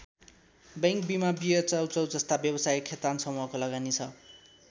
Bank बिमा beer चाउचाउ जस्ता व्यवसायमा खेतान समूहको लगानी छ।